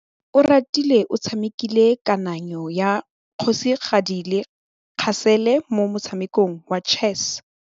Oratile o tshamekile kananyô ya kgosigadi le khasêlê mo motshamekong wa chess.